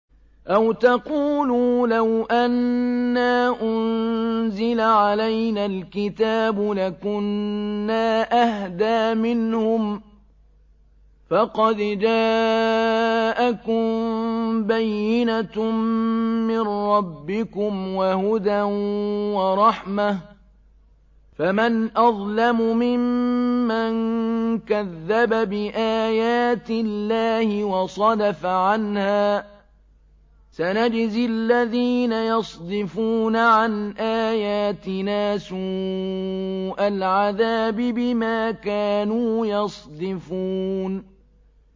أَوْ تَقُولُوا لَوْ أَنَّا أُنزِلَ عَلَيْنَا الْكِتَابُ لَكُنَّا أَهْدَىٰ مِنْهُمْ ۚ فَقَدْ جَاءَكُم بَيِّنَةٌ مِّن رَّبِّكُمْ وَهُدًى وَرَحْمَةٌ ۚ فَمَنْ أَظْلَمُ مِمَّن كَذَّبَ بِآيَاتِ اللَّهِ وَصَدَفَ عَنْهَا ۗ سَنَجْزِي الَّذِينَ يَصْدِفُونَ عَنْ آيَاتِنَا سُوءَ الْعَذَابِ بِمَا كَانُوا يَصْدِفُونَ